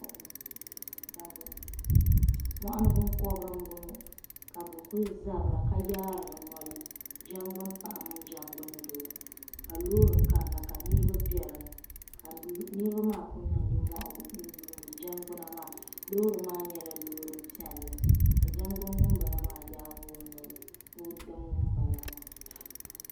Moɣuni binkobiri m bo ŋɔ ka bu kuli zabira ka yaari bi noli jangbunpaɣa mini jangbundoo ka loori kanna ka niribi be din ni ka niribi maa ku niŋ nimohi n yuuni jangbuna maa loori maa nyela loori piɛlli ka jangbuni ŋun bala maa yaagi o noli ni o dim ŋun bala maa.